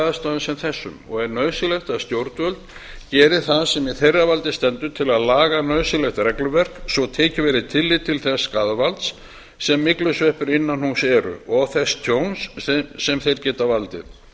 aðstæðum sem þessum og er nauðsynlegt að stjórnvöld geri það sem í þeirra valdi stendur til að laga nauðsynlegt regluverk svo tekið verði tillit til þess skaðvalds sem myglusveppir innan húss eru og þess tjóns sem þeir geta valdið